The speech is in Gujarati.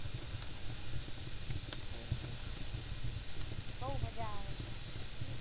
બવ મજા આવે ત્યાં